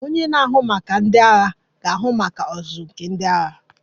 Onye na-ahụ maka ndị agha ga-ahụ maka ọzụzụ nke ndị agha